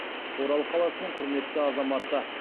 орал қаласының құрметті азаматы